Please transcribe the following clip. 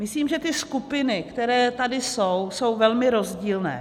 Myslím, že ty skupiny, které tady jsou, jsou velmi rozdílné.